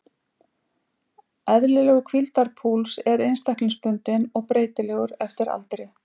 Eðlilegur hvíldarpúls er einstaklingsbundinn og breytilegur eftir aldri.